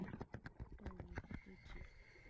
tollgate Trichy